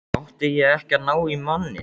Átti ég ekki að ná í manninn?